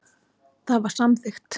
Það var samþykkt.